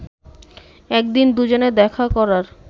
একদিন দুজনে দেখা করার